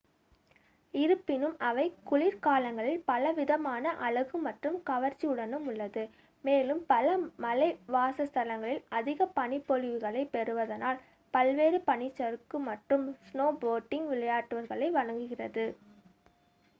இருப்பினும் அவை குளிர்காலங்களில் பலவிதமான அழகு மற்றும் கவர்ச்சியுடனும் உள்ளது மேலும் பல மலைவாச ஸ்தலங்கள் அதிக பனிப்பொழிவுகளை பெறுவதனால் பல்வேறு பனிச்சறுக்கு மற்றும் ஸ்னோபோர்டிங்க் விளையாட்டுக்களை வழங்குகிறது